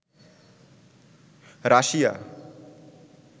Russia